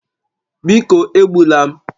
Biko egbula m